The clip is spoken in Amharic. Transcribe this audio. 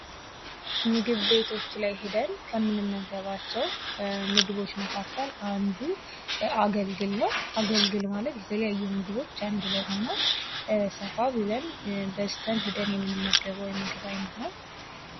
ምግብ ቤቶች ላይ ሂደን ከምንመገባቸው ምግቦች መካከል አንዱ አገልግል ነው። አገልግል ማለት የተለያዩ ምግቦች አንድላይ ሆነው ሰፋ ብለን በዝተን ሂደን የምንመገበው የምግብ አይነት ነው።